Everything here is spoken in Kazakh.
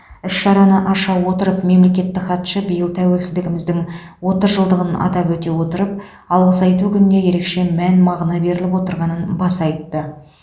іс шараны аша отырып мемлекеттік хатшы биыл тәуелсіздігіміздің отыз жылдығын атап өте отырып алғыс айту күніне ерекше мән мағына беріліп отырғанын баса айтты